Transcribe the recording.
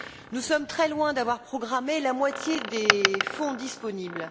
Nous sommes très loin d'avoir programmé la moitié des fonds disponibles.